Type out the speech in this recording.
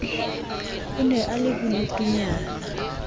a ne a le bodutunyana